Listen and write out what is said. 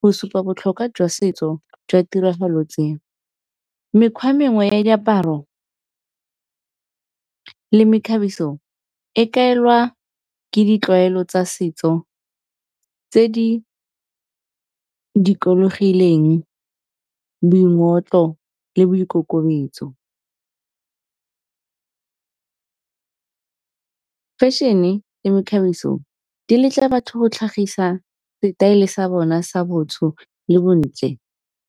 go supa botlhokwa jwa setso jwa tiragalo tse. Mekgwa mengwe ya diaparo le mekgabiso e kaelwa ke ditlwaelo tsa setso, tse di dikologileng boingotlo le boikokobetso. Fashion-e le mekgabiso di letla batho go tlhagisa setaele sa bona sa le bontle,